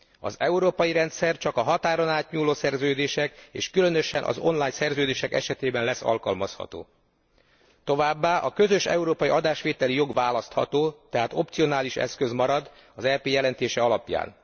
Az európai rendszer csak a határon átnyúló szerződések és különösen az online szerződések esetében lesz alkalmazható, továbbá a közös európai adásvételi jog választható, tehát opcionális eszköz marad az EP jelentése alapján.